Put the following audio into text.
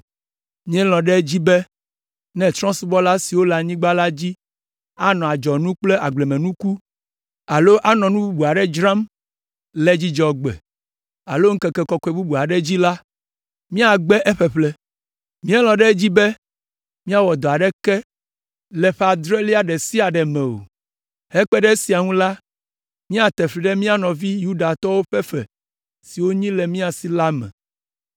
“Míelɔ̃ ɖe edzi be ne trɔ̃subɔla siwo le anyigba la dzi anɔ adzɔnu kple agblemenuku alo nu bubu aɖe dzram le Dzudzɔgbe alo ŋkeke kɔkɔe bubu aɖe dzi la, míagbe eƒeƒle. Míelɔ̃ ɖe edzi be míawɔ dɔ aɖeke le ƒe adrelia ɖe sia ɖe me o. Hekpe ɖe esia ŋu la, míate fli ɖe mía nɔvi Yudatɔwo ƒe fe siwo wonyi le mía si la me.